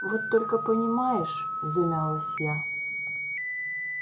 вот только понимаешь замялась я